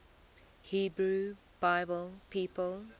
hebrew bible people